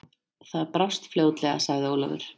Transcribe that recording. Það brást fljótlega, sagði Ólafur.